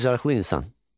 Bacarıqlı insan.